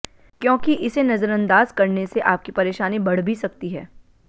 क्योंकि इसे नजरअंदाज करने से आपकी परेशानी बढ़ भी सकती है